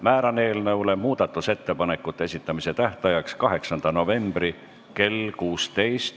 Määran muudatusettepanekute esitamise tähtajaks 8. novembri kell 16.